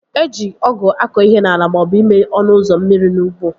Eji ọgụ akọ ihe n'ala maọbụ ime ọnụ ụzọ mmiri n'ụgbọ